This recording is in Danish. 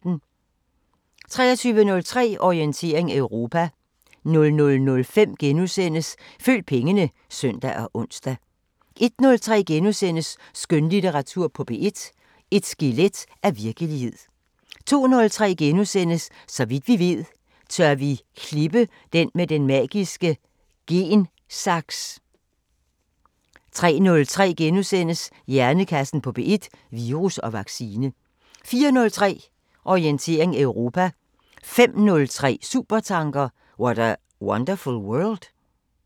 23:03: Orientering Europa 00:05: Følg pengene *(søn og ons) 01:03: Skønlitteratur på P1: Et skelet af virkelighed * 02:03: Så vidt vi ved: Tør vi klippe med den magiske gen-saks? * 03:03: Hjernekassen på P1: Virus og vaccine * 04:03: Orientering Europa 05:03: Supertanker: What a wonderful world?